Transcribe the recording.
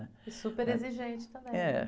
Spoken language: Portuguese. E super exigente também, né?.